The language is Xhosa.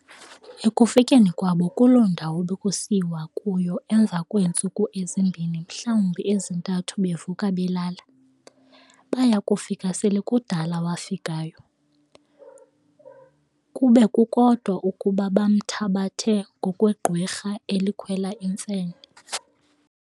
ekufikeni kwabo kuloo ndawo bekusiyiwa kuyo emva kweentsuku ezimbini mhlawumbi ezintathu bevuka belala, baya kufika sele kudala wafikayo, kube kukodwa ukuba bamthabathe ngokwegqwirha elikhwela imfene.